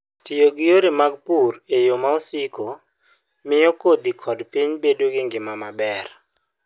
Tiyo gi yore mag pur e yo ma siko, miyo kodhi kod piny bedo gi ngima maber.